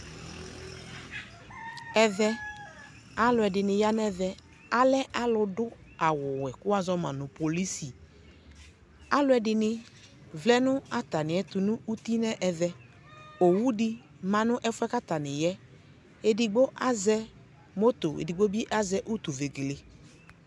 Ɛvɛ alʋ ɛdɩnɩ ya nɛvɛ Alɛ alʋ dʋ awʋ wɛ kʋ woazɔ ma nʋ polɩsɩ Alʋ ɛdɩnɩ vlɛ nʋ atamɩɛtʋ nʋ ʋtɩ nɛvɛ Owʋ dɩ ma nʋ ɛfʋɛ kʋ atanɩ yaɛ Edɩgbo azɛ moto edɩgbo bɩ azɛ ʋtʋ vegele